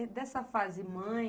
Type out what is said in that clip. É dessa fase mãe?